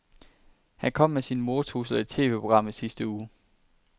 Han kom med sine mordtrusler i et TVprogram i sidste uge.